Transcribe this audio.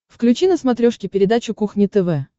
включи на смотрешке передачу кухня тв